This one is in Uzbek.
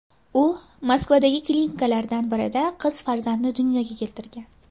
U Moskvadagi klinikalardan birida qiz farzandni dunyoga keltirgan.